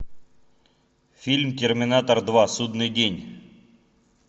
фильм терминатор два судный день